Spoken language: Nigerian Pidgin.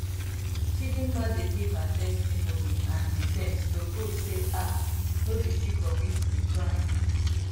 chidimma dey give her testimony and defence to prove say um no be she commit di crime